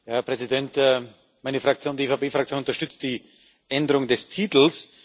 Herr Präsident! Meine Fraktion, die EVP Fraktion, unterstützt die Änderung des Titels.